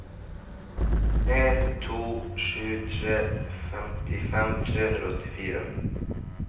en to sju tre femtifem tre hundre og åttifire